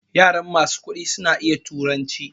Yaran masu kuɗi sun iya turanci